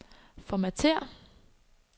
formatér